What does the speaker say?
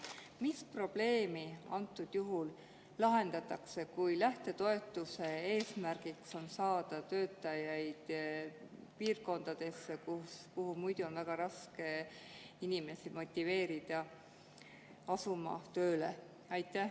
Mis probleemi antud juhul lahendatakse, kui lähtetoetuse eesmärk on saada töötajaid piirkondadesse, kuhu muidu on väga raske motiveerida inimesi tööle asuma?